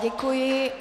Děkuji.